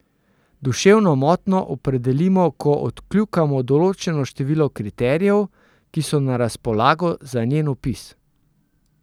Duševno motnjo opredelimo, ko odkljukamo določeno število kriterijev, ki so na razpolago za njen opis.